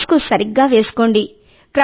mask సరిగ్గా వేసుకోండి